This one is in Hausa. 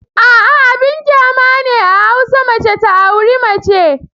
A'a! Abin kyama ne a hausa mace ta auri mace.